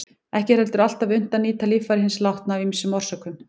Ekki er heldur alltaf unnt að nýta líffæri hins látna af ýmsum orsökum.